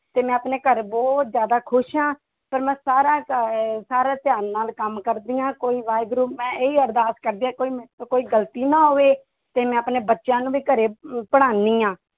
ਤੇ ਮੈਂ ਆਪਣੇ ਘਰ ਬਹੁਤ ਜ਼ਿਆਦਾ ਖ਼ੁਸ਼ ਹਾਂ ਪਰ ਮੈਂ ਸਾਰਾ ਅਹ ਸਾਰਾ ਧਿਆਨ ਨਾਲ ਕੰਮ ਕਰਦੀ ਹਾਂ ਕੋਈ ਵਾਹਿਗੁਰੂ ਮੈਂ ਇਹੀ ਅਰਦਾਸ ਕਰਦੀ ਹਾਂ ਕੋਈ ਮੇਰੇ ਤੋਂ ਕੋਈ ਗ਼ਲਤੀ ਨਾ ਹੋਵੇ ਤੇ ਮੈਂ ਆਪਣੇ ਬੱਚਿਆਂ ਨੂੰ ਵੀ ਘਰੇ ਅਮ ਪੜ੍ਹਾਉਂਦੀ ਹਾਂ।